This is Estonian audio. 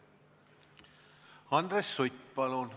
Andres Sutt, palun!